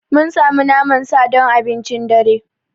Mun sami naman sa sa don abincin dare.